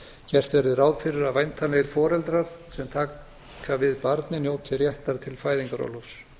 gert verði ráð fyrir að væntanlegir foreldrar sem taka við barni njóti réttar til fæðingarorlofs